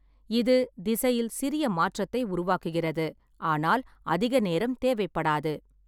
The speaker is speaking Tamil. இது திசையில் சிறிய மாற்றத்தை உருவாக்குகிறது, ஆனால் அதிக நேரம் தேவைப்படாது.